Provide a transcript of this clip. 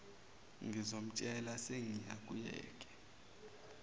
ngizomtshela sengiya kuyeke